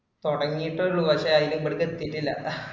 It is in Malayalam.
തൊടങ്ങീട്ടുള്ളു പക്ഷെ അയിൻ്റെ ഇപ്പറത്ത്‌ എത്തീട്ടില്